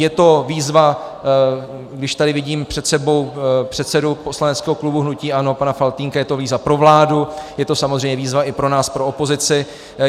Je to výzva, když tady vidím před sebou předsedu poslaneckého klubu hnutí ANO pana Faltýnka, je to výzva pro vládu, je to samozřejmě výzva i pro nás, pro opozici.